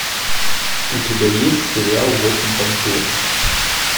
у тебя есть сериал восемь панфиловцев